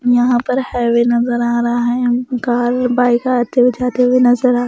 यहाँ पर हाईवे नजर आ रहा है कार या बाइक आते हुए जाते हुए नजर आ--